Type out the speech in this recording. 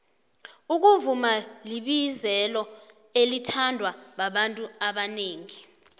ukuvuma libizelo elithandwa babantu abanengi